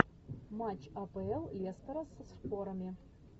матч апл лестера со шпорами